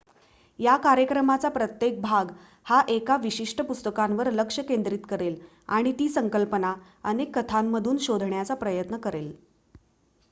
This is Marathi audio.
या कार्यक्रमाचा प्रत्येक भाग हा एका विशिष्ट पुस्तकावर लक्ष केंद्रित करेल आणि ती संकल्पना अनेक कथांमधून शोधण्याचा प्रयत्न करेल